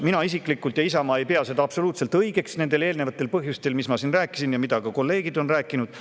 Mina isiklikult ja Isamaa ei pea seda absoluutselt õigeks nendel põhjustel, millest ma siin rääkisin ja millest ka kolleegid on rääkinud.